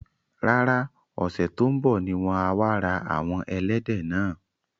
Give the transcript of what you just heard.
Rárá, Ọ̀sẹ̀ tó ń bọ̀ ni wọ́n á wá ra àwọn ọmọ ẹlẹ́dẹ̀ náà.